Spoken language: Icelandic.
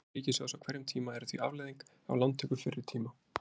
Skuldir ríkissjóðs á hverjum tíma eru því afleiðing af lántöku fyrri tíma.